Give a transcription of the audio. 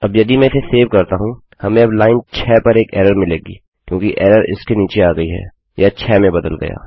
अब यदि मैं इसे सेव करता हूँ हमें अब लाइन 6 पर एक एरर मिलेगी क्योंकि एरर इसके नीचे आ गयी है यह 6 में बदल गया